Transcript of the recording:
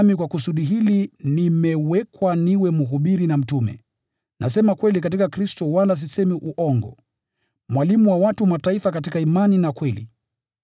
Nami kwa kusudi hili nimewekwa niwe mhubiri na mtume (nasema kweli katika Kristo wala sisemi uongo), mwalimu wa watu wa Mataifa katika imani na kweli.